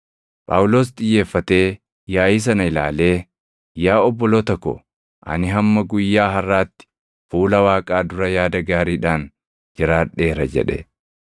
Phaawulos xiyyeeffatee yaaʼii sana ilaalee, “Yaa obboloota ko, ani hamma guyyaa harʼaatti fuula Waaqaa dura yaada gaariidhaan jiraadheera” jedhe.